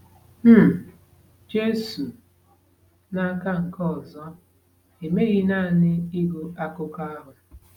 um Jesu, n’aka nke ọzọ, emeghị naanị ịgụ akụkọ ahụ.